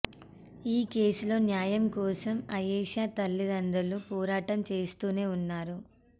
ఈ కేసులో న్యాయం కోసం ఆయేషా తల్లిదండ్రులు పోరాటం చేస్తూనే ఉన్నారు